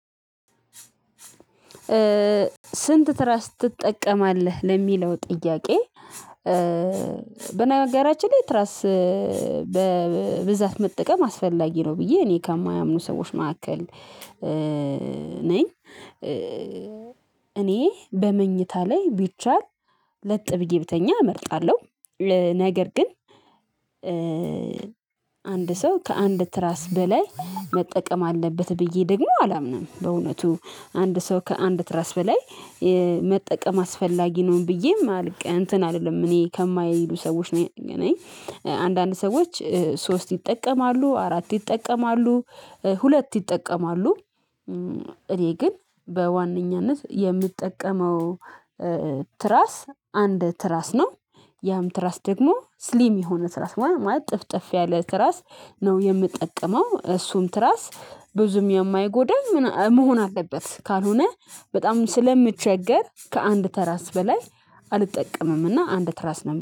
ስንት ትራስ ትጠቀማለህ ለሚለው ጥያቄ? በነገራችን ላይ ትራስ በብዛት መጠቀም አስፈላጊ ነው ብዬ እኔ ከማያምኑ ሰዎች መካከል ነኝ። እኔ በመኝታ ላይ ቢቻል ለጥ ብዬ ብተኛ እመርጣለሁ። ነገር ግን አንድ ሰው ከአንድ ትራስ በላይ መጠቀም አለበት ብዬ ደግሞ አላምንም። በእውነቱ አንድ ሰው ከአንድ ትራስ በላይ መጠቀም አስፈላጊ ነው ብዬ ማለት እንትን አይደለም እኔ ከማይሉ ሰዎች ነኝ። አንዳንድ ሰዎች ሶስት ይጠቀማሉ አራት ይጠቀማሉ ሁለት ይጠቀማሉ። እኔ ግን በዋነኛነት የምጠቀመው ትራስ አንድ ትራስ ነው። ያም ትራስ ደግሞ ስሊም የሆነ ትራስ ማለት ጥፍጥፍ ያለ ትራስ ነው የምጠቀመው። እሱን ትራስ ብዙም የማይጎዳ መሆን አለበት ካልሆነ በጣም ስለምቸገር ከአንድ ትራስ በላይ አልጠቀምም እና አንድ ትራስ ነው